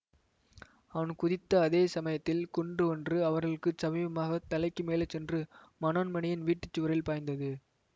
அவன் குதித்த அதே சமயத்தில் குண்டு ஒன்று அவர்களுக்கு சமீபமாகத் தலைக்கு மேலே சென்று மனோன்மணியின் வீட்டு சுவரில் பாய்ந்தது